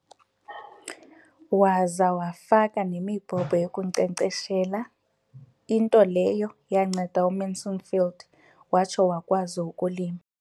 Waza wafaka nemibhobho yokunkcenkceshela, into leyo yanceda uMansfield watsho wakwazi ukulima.